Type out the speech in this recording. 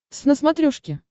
твз на смотрешке